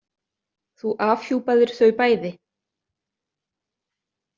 Þú afhjúpaðir þau bæði.